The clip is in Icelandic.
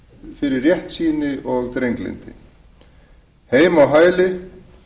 fyrir réttsýni og drenglyndi heima á hæli